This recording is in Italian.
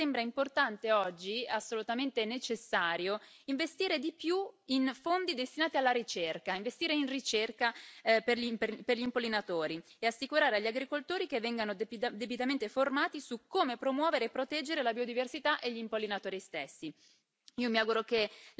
E io aggiungo che mi sembra importante oggi, assolutamente necessario, investire di più in fondi destinati alla ricerca, investire in ricerca per gli impollinatori e assicurare agli agricoltori che vengano debitamente formati su come promuovere e proteggere la biodiversità e gli impollinatori stessi.